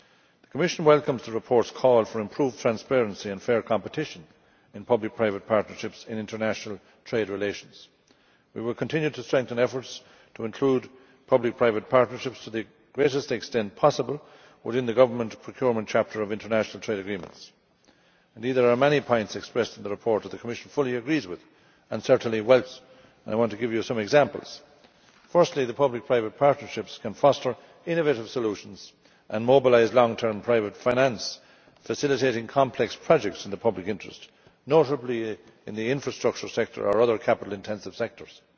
The Commission welcomes the report's call for improved transparency and fair competition in public private partnerships in international trade relations. We will continue to strengthen efforts to include public private partnerships to the greatest extent possible within the government procurement chapter of international trade agreements. Indeed, there are many points expressed in the report with which the Commission fully agrees and certainly welcomes. I want to give you some examples. Firstly, that public private partnerships can foster innovative solutions and mobilise long term private finance, facilitating complex projects in the public interest, notably in the infrastructure sector or other capital intensive sectors.